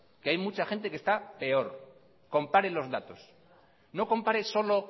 que hay mucha gente que está peor compare los datos no compare solo